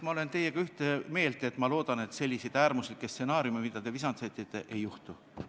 Ma olen teiega ühte meelt ja loodan, et sellised äärmuslikud stsenaariumid, mille te visandasite, teoks ei saa.